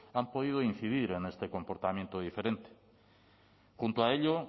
han podido incidir en este comportamiento diferente junto a ello